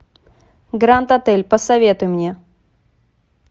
гранд отель посоветуй мне